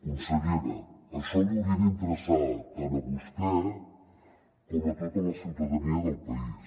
consellera això li hauria d’interessar tant a vostè com a tota la ciutadania del país